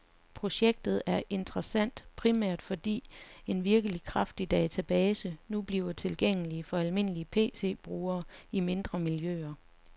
Projektet er interessant, primært fordi en virkelig kraftig database nu bliver tilgængelig for almindelige PCbrugere i mindre miljøer.